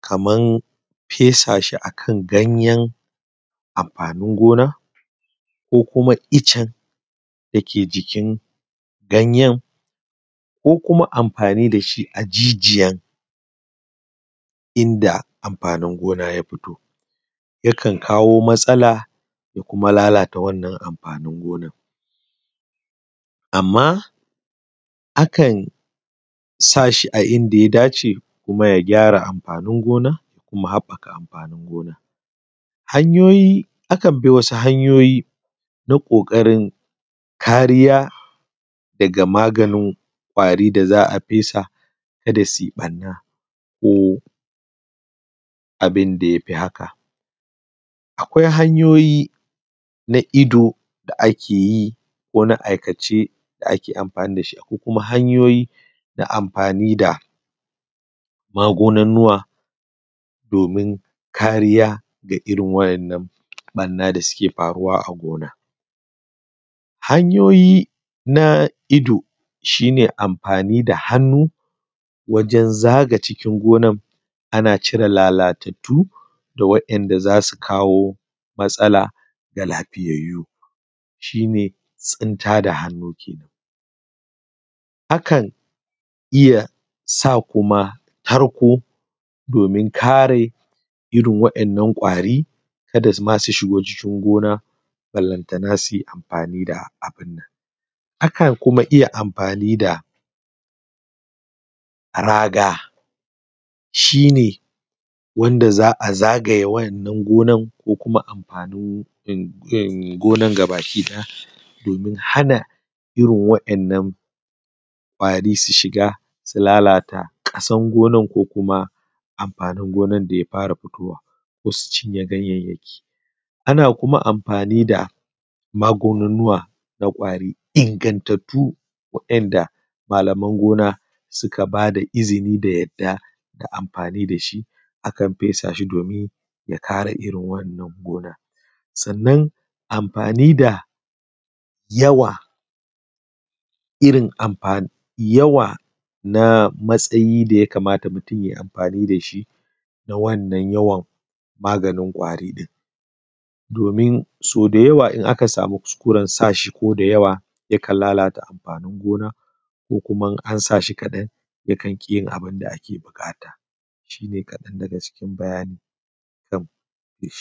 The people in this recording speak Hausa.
kamar fesa shi a kan ganyen amfani gona ko kuma iccen dake jikin ganyen ko kuma amfani da shi a jijiyar inda amfani gona ya fito yakan kawo matsala da kuma lalata wannan amfanin gona. Amma akan sa shi a inda ya dace kuma ya gyara amfanin gona kuma ya haɓaka amfanin gona. Akan bi wasu hanyoyi na ƙoƙarin kariya daga maganin ƙwari da za a fesa ka da su yi ɓarna ko abun da ya fi haka. Akwai hanyoyi na ido da ake yi ko na aikace da ake yi, akwai kuma hanyoyi da magununnuka domin kariya daga irin waɗannan ɓarna da suke gona. Hanyaoyi na ido shi ne amfani da hannu wajen zaga cikin gonar ana cire lalatattu da wadanda za su kawo matsala ga lafiyayu shi ne tsinta da hannun kenan. Akan iya sa kuma tarko domin kare irin waɗannan ƙwari ka da ma su shigo cikin gona ballantana su yi amfani dabun nan. Akan kuma iya amfani da raga shi ne wanda za a zagaye wannan gonar ko kuma amfani gonar gaba ɗaya domin hana irin waɗannan ƙwari su shiga domin lalata ƙasar gonar da amfanin gona da ya fara fitowa ko su cinye ganyayyaki. Ana kuma amfani da maganunuka ingantattu waɗannan malamai na gona duka ba da izini a yi amfani da su domin ya kare irin wannan gona. Sannan amfani da yawa irn amfani yawa na matsayi da ya kamata mutum ya yi amfani da shi na wannan maganin ƙwari ɗin domin sau da yawa idan aka sama kukusren sa shi da yawa yakan lalata amfanin gona ko kuma idan an sa shinkadan yakan ƙi yinabun da ake buƙata. Shi ne kaɗan daga cikin bayani akan feshi.